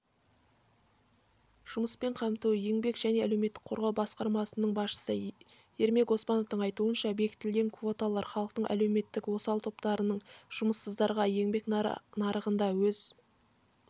жұмыспен қамту еңбек және әлеуметтік қорғау басқармасының басшысы ермек оспановтың айтуынша бекітілген квоталар халықтың әлеуметтік осал топтарынан жұмыссыздарға еңбек нарығында өз